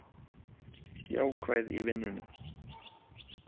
Jákvæð í vinnunni